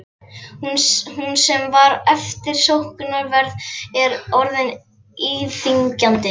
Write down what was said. Hún sem var eftirsóknarverð er orðin íþyngjandi.